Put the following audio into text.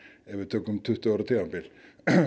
ef við tökum tuttugu ára tímabil